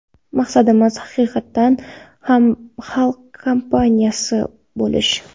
Maqsadimiz – haqiqatdan ham xalq kompaniyasi bo‘lish!